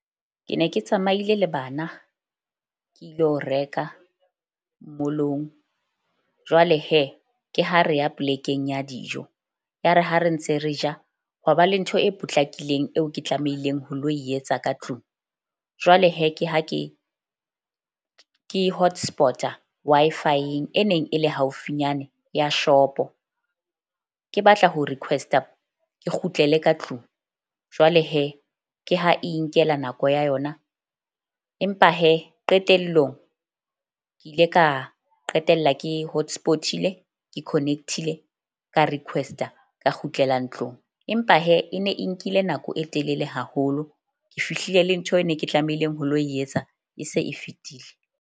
Ke ne ke tsamaile le bana ke ilo reka mall-ong jwale ke ha re ya plek-eng ya dijo, ya re ha re ntse re ja hwa ba le ntho e potlakileng eo ke tlamehileng ho lo etsa ka tlung. Jwale ke ha ke hotspot-a Wi-Fi-eng e neng e le haufinyane ya shop-o. Ke batla ho request-a ke kgutlele ka tlung. Jwale ke ha e inkela nako ya yona, empa qetellong ke ile ka qetella ke hotspot-ile ke connect-ile ka request-a ka kgutlela ntlong. Empa e ne e nkile nako e telele haholo. Ke fihlile le ntho e ne ke tlamehileng ho lo etsa e se e fetile.